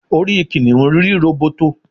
orí kìnìún rí róbótó